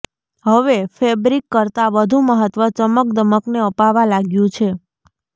હવે ફેબ્રિક કરતાં વધુ મહત્ત્વ ચમકદમકને અપાવા લાગ્યું છે